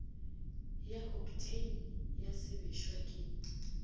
ya oktheine ya sebešwa ke